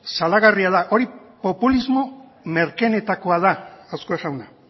salagarria da hori populismo merkeenetakoa da azkue jauna